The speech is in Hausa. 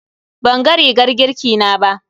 Banga rigar girki na ba.